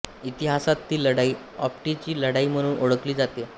इतिहासात ती लढाई आप्टीची लढाई म्हणून ओळखली जाते